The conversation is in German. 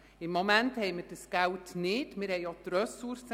Gegenwärtig haben wir jedoch weder das Geld noch die Ressourcen.